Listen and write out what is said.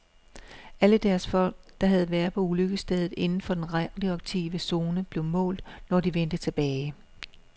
Alle deres folk, der havde været på ulykkesstedet inden for den radioaktive zone, blev målt, når de vendte tilbage.